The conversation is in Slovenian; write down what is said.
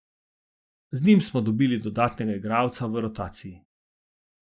Z njim smo dobili dodatnega igralca v rotaciji.